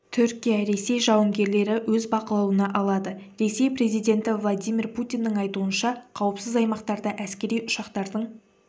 түркия ресей жауынгерлері өз бақылауына алады ресей президенті владимир путиннің айтуынша қауіпсіз аймақтарда әскери ұшақтардың